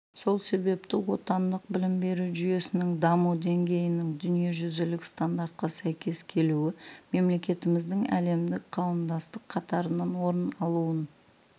сол себепті отандық білім беру жүйесінің даму деңгейінің дүниежүзілік стандартқа сәйкес келуі мемлекетіміздің әлемдік қауымдастық қатарынан орын алуын